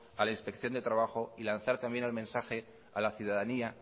a la inspección de trabajo y lanzar también el mensaje a la ciudadanía